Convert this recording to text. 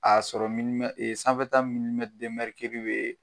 Aa sɔrɔ sanfɛta bee